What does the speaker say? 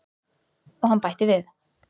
Og hann bætti við.